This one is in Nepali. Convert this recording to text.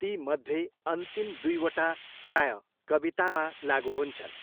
तीमध्ये अन्तिम दुईवटा प्रायः कवितामा लागु हुन्छन्।